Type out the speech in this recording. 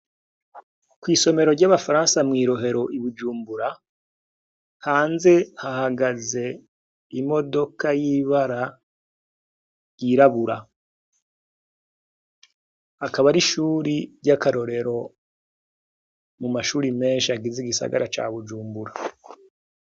Kw'isomero ry'abafaransa mw'irohero ibujumbura hanze hahagaze imodoka y'ibara ryirabura akaba ari ishuri ry'akarorero mu mashuri menshi agize igisagara ca bujumbura.